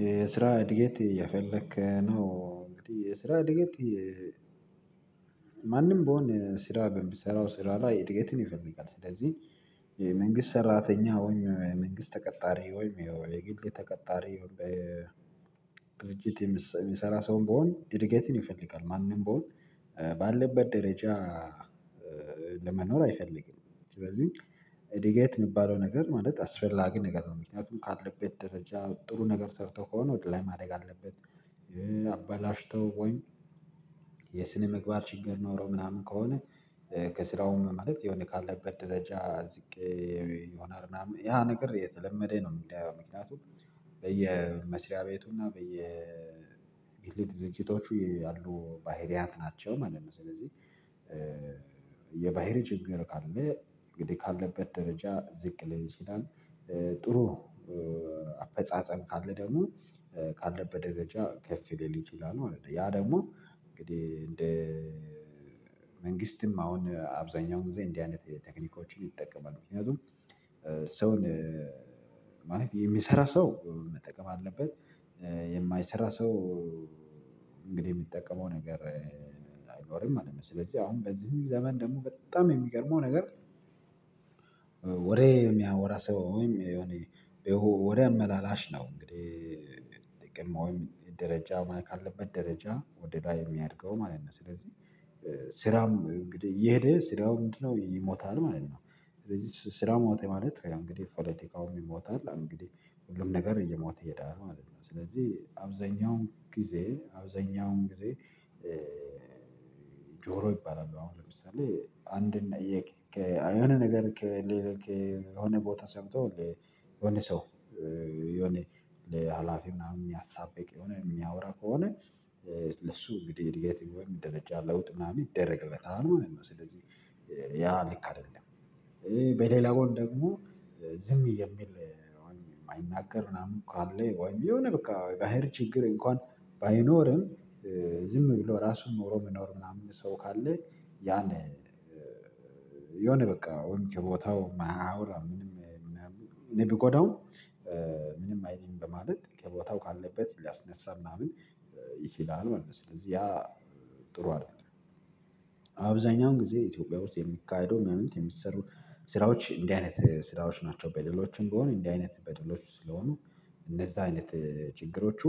የስራ እድገት አየፈለክ ነው እንግዲህ የስራ እድገት ማንም ብሆን ስራ ብምሰራው ስራ ላይ እድገትን ይፈልጋል ስለዚህ መንግስት ሰራተኛ ሆኜ መንግስት ተቀጣሪ ወይም የግል ተቀጣሪ በድርጅት የሚሰራ ሰውም ቢሆን ኢድገትን ይፈልጋል ማንም ብሆን ባለበት ደረጃ ለመኖር አይፈልግም ስለዚህ እድገት የሚባለው ነገር ማለት አስፈላጊ ነገር ነው ምክንያቱም ካለበት ደረጃ ጥሩ ነገር ሰርቶ ከሆነ ወደ ላይ ማደግ አለበት አበላሽቶ ወይም የስነ መግባር ችግር ኖሮ ምናምን ከሆነ ከስራውም ማለት የሆነ ካለበት ደረጃ ዝቅ ይሆናል ምናምን ያ ነገር የተለመደ ነው ምክንያቱም በየመስሪያ ቤቱና በየግል ድሪጅቶቹ ያሉ ባህሪያት ናቸው ማለት ነው። ስለዚህ የባህሪ ችግር ካለ እንግዲህ ካለበት ደረጃ ዝቅ ሊል ይችላል። ጥሩ አፈጻጸም ካለ ደግሞ ካለበት ደረጃ ከፍ ሊል ይችላል ማለት ነው ያ ደግሞ እንግዲህ እንደ መንግስትም አሁን አብዛኛው ጊዜ እንዲህ አይነት ቴክኒኮችን ይጠቀማሉ ምክንያቱም ሰውን ማለፍ የሚሰራ ሰው መጠቀም አለበት የማይሰራ ሰው እንግዲህ የሚጠቀመው ነገር አይኖርም ማለት ነው። ስለዚህ አሁን በዚህ ዘመን ደግሞ በጣም የሚገርመው ነገር የሚያወራ ሰው ወሬ አመላላሽ ነው እንግዲህ ደረጃ ካለበት ደረጃ ወደ ላይ የሚያድገው ማለት ነው ስለዚህ ስራም እየሄደ ስራው ምንድነው ይሞታል ማለት ነው ስለዚህ ስራ ሞተ ማለት እንግዲህ ፖለቲካውም ይሞታል እንግዲህ ሁሉም ነገር እየሞተ እየዳረ ማለት ነው ስለዚህ አብዛኛውን ጊዜ አብዛኛውን ጊዜ ጆሮ ይባላል አሁን ለምሳሌ አንድ የሆነ ነገር ከሌለ ከሆነ ቦታ ሰምቶ የሆነ ሰው የሆነ ለሀላፊ ምናምን የሚያሳብቅ የሆነ የሚያወራ ከሆነ ለሱ እንግዲህ አድገት ወይም ደረጃ ለውጥ ምናምን ይደረግበታል ማለት ነው። ስለዚህ ያ ልክ አይደለም በሌላ ጎን ደግሞ ዝም የሚል ማይናገር ምናምን እኮ አለ ወይም የሆነ በቃ ባህር ችግር እንኳን ባይኖርም ዝም ብሎ ራሱን ኑሮ ምኖር ምናምን ሰው ካለ ያን የሆነ በቃ ወንጌ ቦታው አያወራም ምንም እኔ ብጎዳውም ምንም አይልም በማለት ከቦታው ካለበት ሊያስነሳ ምናምን ይችላል ማለት ነው። ስለዚህ ያ ጥሩ አይደለም አብዛኛውን ጊዜ ኢትዮጵያ ውስጥ የሚካሄደው ማለት የሚሰሩ ስራዎች እንዲህ አይነት ስራዎች ናቸው። በደሎችም ቢሆን እንዲህ አይነት በደሎች ስለሆኑ እነዛ አይነት ችግሮቹ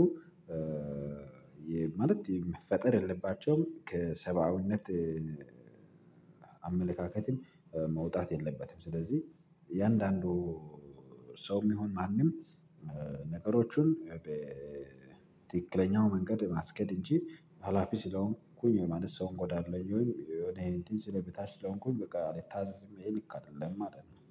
ማለት የመፈጠር የለባቸውም ከሰባዊነት አመለካከትም መውጣት የለባትም ስለዚህ የአንዳንዱ ሰውም ይሁን ማንም ነገሮቹን በ መንገድ በ ማስኬድድ እንጂ ሀላፊ ስለሆንኩኝ የማንስ ሰውን አጎዳሉሁኝ ወይ ወደ ይሄ እንትን ስለብታች ለሆንኩኝ በቃ አልታዘዝም ይሄን ልክ አይደለም ማለት ነው።